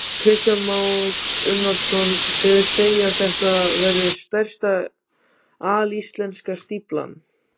Kristján Már Unnarsson: Þið segið að þetta verði stærsta alíslenska stíflan?